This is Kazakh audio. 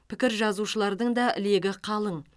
пікір жазушылардың да легі қалың